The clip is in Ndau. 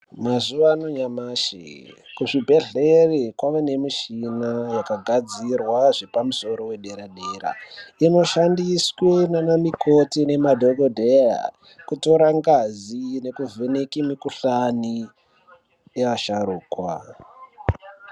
Mazuva anyamashi kuzvibhedhleri kwavanemichina yakagadzirwa zvepamusoro wedera-dera. Inoshandiswe naana mikoti ngemadhogodheya kutora ngazi nekuvheneke mikuhlani yeasharukwa.